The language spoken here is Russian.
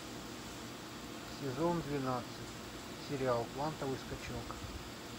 сезон двенадцать сериал квантовый скачок